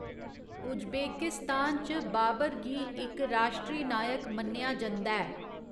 Uzbekistan च बाबर गी इक राश्ट्री नायक मन्नेआ जंदा ऐ।